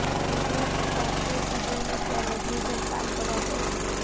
એક દિવસ તે ધનશ્રી શિંદેને ત્યાં રોજની જેમ કામ કરવા પહોંચી